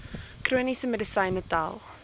chroniese medisyne tel